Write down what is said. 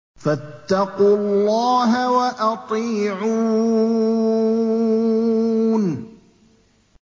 فَاتَّقُوا اللَّهَ وَأَطِيعُونِ